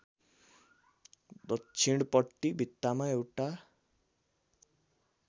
दक्षिणपट्टि भित्तामा एउटा